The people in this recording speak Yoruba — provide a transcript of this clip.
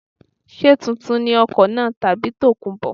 Ṣé tuntun ni ọkọ̀ náà tàbí tòkunbọ̀.